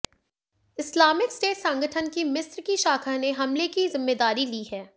Islamic State संगठन की मिस्र की शाखा ने हमले की जिम्मेदारी ली है